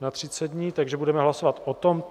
na 30 dní, takže budeme hlasovat o tomto.